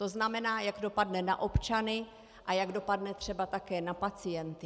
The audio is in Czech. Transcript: To znamená, jak dopadne na občany a jak dopadne třeba také na pacienty.